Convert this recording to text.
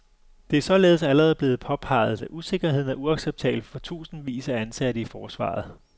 Det er således allerede blevet påpeget, at usikkerheden er uacceptabel for tusindvis af ansatte i forsvaret.